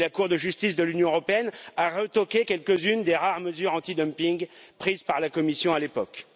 Et la Cour de justice de l'Union européenne a retoqué quelques unes des rares mesures anti dumping prises par la Commission à l'époque.